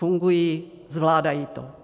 Fungují, zvládají to.